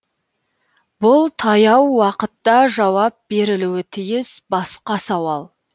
бұл таяу уақытта жауап берілуі тиіс басқа сауал